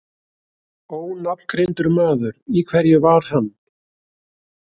Ónafngreindur maður: Í hverju var hann?